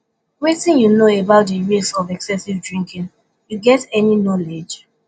wetin you know about di risks of excessive drinking you get any knowledge